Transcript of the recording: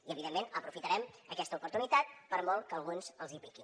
i evidentment aprofitarem aquesta oportunitat per molt que a alguns els hi piqui